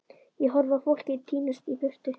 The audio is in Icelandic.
Ég horfi á fólkið tínast í burtu.